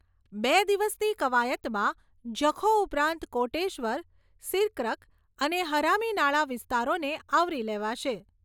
બે દિવસની કવાયતમાં જખૌ ઉપરાંત કોટેશ્વર, સિરક્રક, અને હરામીનાળા વિસ્તારોને આવરી લેવાશે.